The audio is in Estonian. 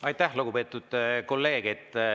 Aitäh, lugupeetud kolleeg!